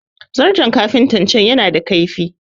zarton kafinta can yana da laifi